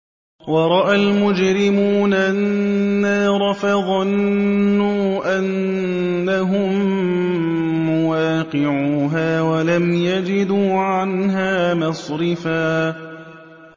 وَرَأَى الْمُجْرِمُونَ النَّارَ فَظَنُّوا أَنَّهُم مُّوَاقِعُوهَا وَلَمْ يَجِدُوا عَنْهَا مَصْرِفًا